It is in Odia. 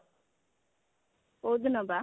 କୋଉଦିନ ବା